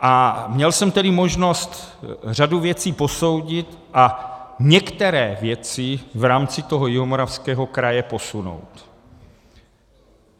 A měl jsem tedy možnost řadu věcí posoudit a některé věci v rámci toho Jihomoravského kraje posunout.